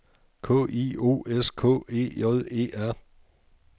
K I O S K E J E R